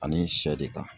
Ani sɛ de kan